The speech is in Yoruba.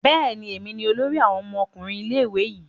Bẹẹni, èmi ní olórí awon ọmọkùnrin ilé-ìwé yi